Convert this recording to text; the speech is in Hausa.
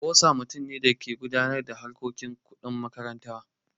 Boza mutum ne da ke gudanar da harkokin kuɗi na makaranta.